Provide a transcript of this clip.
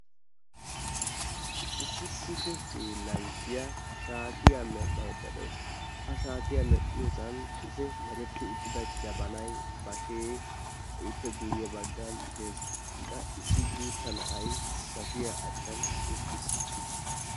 Issi kushe hiilanchchiyaa shaatiya medhdhaydda de'awus. Ha shaatiya medhdhaydda diyoosan jabanay, bashee ippe guyye baggan dees. Wa issi guutta na'ay bashshiya achchan uttiis.